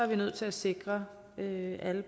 vi nødt til at sikre at alle